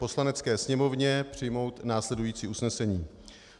Poslanecké sněmovně přijmout následující usnesení: